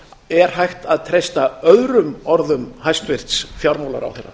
er hægt að treysta öðrum orðum hæstvirts fjármálaráðherra